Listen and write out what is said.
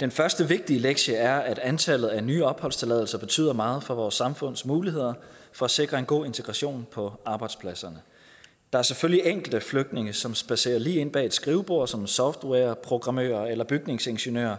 den første vigtige lektie er at antallet af nye opholdstilladelser betyder meget for vores samfunds muligheder for at sikre en god integration på arbejdspladserne der er selvfølgelig enkelte flygtninge som spadserer lige ind bag et skrivebord som softwareprogrammører eller bygningsingeniører